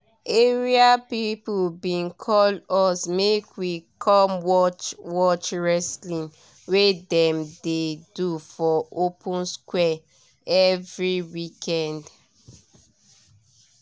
area people bin call us make we come watch watch wrestling wey dem dey do for open square every weekend